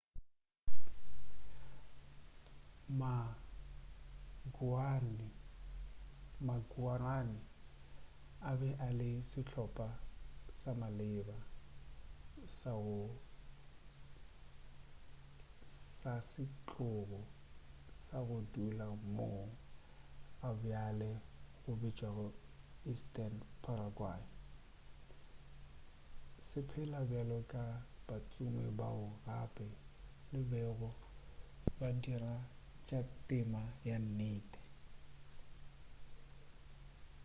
ma-guaraní a be a le sehlopa sa maleba sa setlogo sa go dula moo gabjale go bitšwago eastern paraguay se phela bjalo ka batsomi bao gape ba bego ba dira tša temo ya nnete